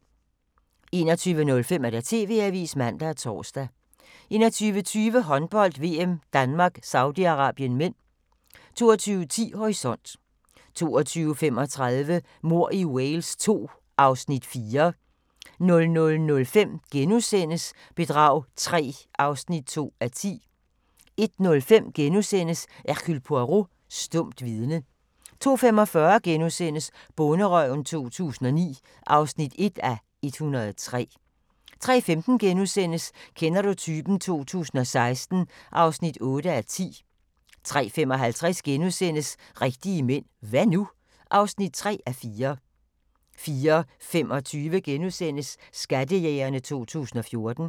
21:05: TV-avisen (man og tor) 21:20: Håndbold: VM - Danmark - Saudi-Arabien (m) 22:10: Horisont 22:35: Mord i Wales II (Afs. 4) 00:05: Bedrag III (2:10)* 01:05: Hercule Poirot: Stumt vidne * 02:45: Bonderøven 2009 (1:103)* 03:15: Kender du typen? 2016 (8:10)* 03:55: Rigtige mænd – hva' nu? (3:4)* 04:25: Skattejægerne 2014 *